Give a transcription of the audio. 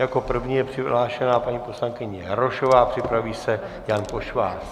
Jako první je přihlášena paní poslankyně Jarošová, připraví se Jan Pošvář.